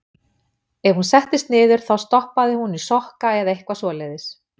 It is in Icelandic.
Ef hún settist niður þá stoppaði hún í sokka eða eitthvað svoleiðis.